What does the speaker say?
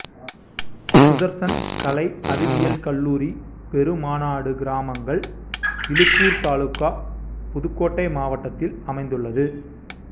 சுதர்சன் கலை அறிவியல் கல்லூரி பெருமநாடு கிராமங்கள் இலூப்பூர் தாலுகா புதுக்கோட்டை மாவட்டத்தில் அமைந்துள்ளது